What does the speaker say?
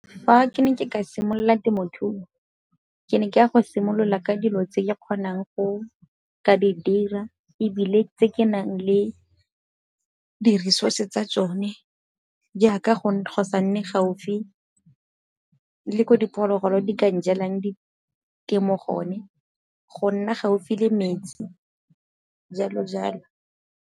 Fa ke ne ke ka simolola temothuo, ke ne ke ya go simolola ka dilo tse di kgonang go ka didira ebile tse ke nang le di-resource tsa tsone jaaka go sa nne gaufi le ko diphologolo di ka njelang ditemo gone, go nna gaufi le metsi jalo jalo.